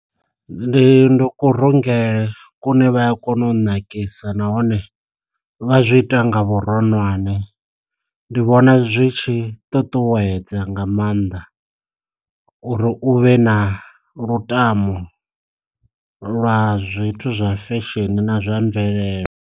Ndi ndo ku rungele kune vha a kona u nakisa nahone vha zwi ita nga vhuronwane, ndi vhona zwi tshi ṱuṱuwedza nga maanḓa uri u vhe na lutamo lwa zwithu zwa fesheni na zwa mvelele.